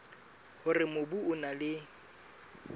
hore mobu o na le